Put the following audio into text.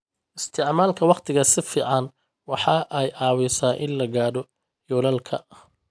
Isticmaalka wakhtiga si fiican waxa ay caawisaa in la gaadho yoolalka.